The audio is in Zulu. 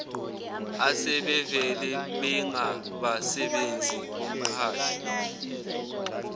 asebevele bengabasebenzi bomqashi